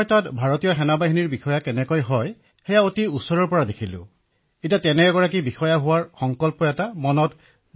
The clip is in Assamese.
অখিলঃ মহাশয় মই তাত ভাৰতীয় ফৌজত বিষয়া কিদৰে হব পাৰি সেয়া অতি কাষৰ পৰা চোৱাৰ সুবিধা লাভ কৰিলো আৰু ইয়াৰ পিছত ভাৰতীয় ফৌজত মোৰ বিষয়া হোৱাৰ সংকল্প আগতকৈও অধিক দৃঢ় হল